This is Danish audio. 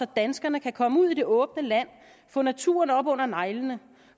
danskerne kan komme ud i det åbne land og få naturen op under neglene